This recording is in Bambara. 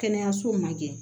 Kɛnɛyaso ma kɛ